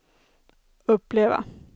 uppleva